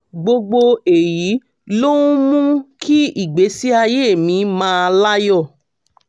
gbogbo èyí ló ń mú kí ìgbésí ayé mi máà láyọ̀